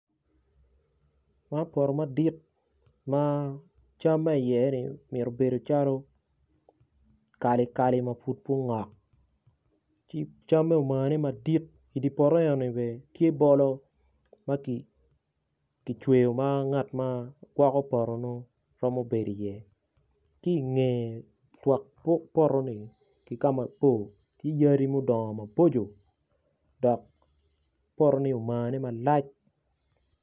Man poto madit ma cam ma iye-ni omito bedo calo kalikali ma pud peya ongok ki camme bene omane madit bolo bene tye ma kicweyo ma ngat ma gwoko poto meno bene tye iye ki i ngeye ki i twak poto-ni yadi tye odongo maboco dok poto ni tye omane malac.